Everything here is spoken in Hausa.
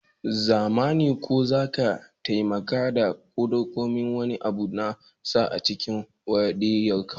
Zumana ko zaka taimaka ka ɗauko min wani abu na sa a cikin wadiruf?